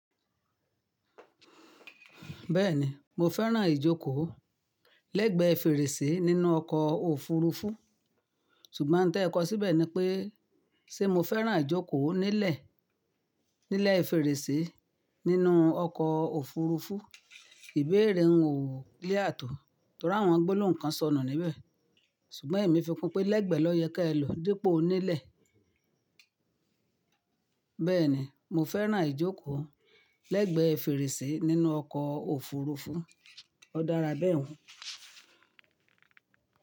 Bẹ́ẹ̀ni, mo fẹ́ràn ìjókòó lẹ́gbẹ́ fèrèsé nínú ọkọ̀ òfurufú. Ṣùgbọ́n n tẹ́ẹ kọ síbẹ̀ ni pé ṣé mo fẹ́ràn ìjókòó nílẹ̀, nílẹ̀ fèrèsé nínú ọkọ̀ òfurufú, íbèrè un ò lé clear tò. Torí àwọn gbólóhùn kan sọnù níbẹ̀. Ṣùgbọ́n èmi fi kún pé lẹ́gbẹ́ ló yẹ kí ẹ lo dípò nílẹ̀. Bẹ́ẹ̀ni, mo fẹ́ràn ìjókòó lẹ́gbẹ́ fèrèsé nínú ọkọ̀ òfurufú. Ó dára bẹ́ẹ̀ hun.